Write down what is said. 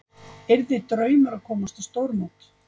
Yrði draumur að komast á stórmót